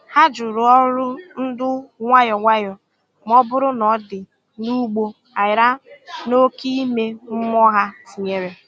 Hà jụrụ ọrụ ndu nwayọ nwayọ ma ọ bụrụ na ọ̀ dị n’ụgbọ aghara na oke ime mmụọ ha tìnyere.